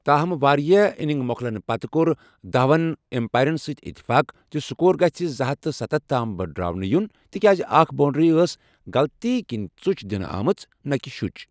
تاہم واریاہ اِنِنگ موٚکلنہٕ پتہٕ کوٚر دہون ایمپایرن سٕتۍ اتفاق زِ سکور گژھہِ زٕ ہتھ تہٕ ستتھ تام بٕڈراونہٕ یُن ،تِکیازِاکھ بونڈری ٲس غلطی کِنہِ ژُچ دِنہٕ آمٕژ نہٕ کہِ شُچ۔